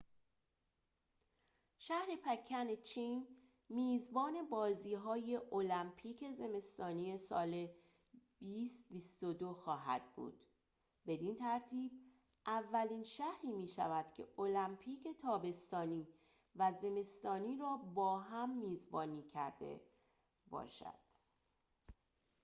شهر پکن چین میزبان بازی‌های المپیک زمستانی سال ۲۰۲۲ خواهد بود بدین ترتیب اولین شهری می‌شود که المپیک تابستانی و زمستانی را با هم میزبانی کرده باشد